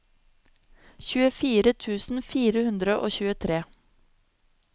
tjuefire tusen fire hundre og tjuetre